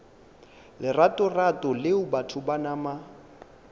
leratorato leo batho ba nama